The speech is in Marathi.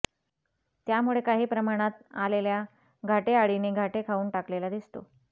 त्यामुळे काही प्रमाणात आलेल्या घाटे आळीने घाटे खाऊन टाकलेला दिसतो